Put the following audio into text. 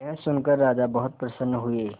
यह सुनकर राजा बहुत प्रसन्न हुए